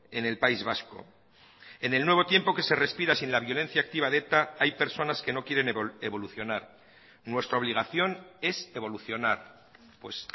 en el país vasco en el nuevo tiempo que se respira sin la violencia activa de eta hay personas que no quieren evolucionar nuestra obligación es evolucionar pues